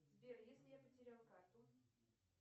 сбер если я потеряла карту